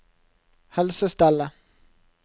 helsestellet